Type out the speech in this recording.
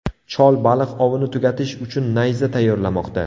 Chol baliq ovini tugatish uchun nayza tayyorlamoqda.